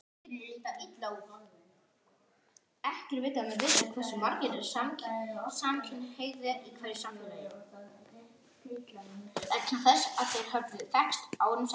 Hefur þetta allt gengið svona frekar snuðrulaust fyrir, snuðrulaust fyrir sig?